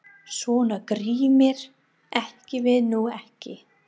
Svona grimmir erum við nú ekki!